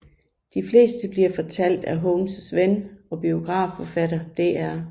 De fleste bliver fortalt af Holmes ven og biografforfatter Dr